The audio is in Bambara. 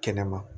Kɛnɛma